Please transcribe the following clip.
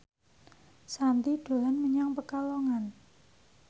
Shanti dolan menyang Pekalongan